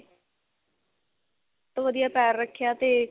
ਤੋਂ ਵਧੀਆ ਪੈਰ ਰੱਖਿਆ ਤੇ